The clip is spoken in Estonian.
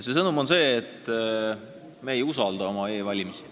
See sõnum on see, et me ei usalda oma e-valimisi.